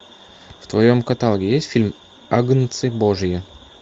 в твоем каталоге есть фильм агнцы божьи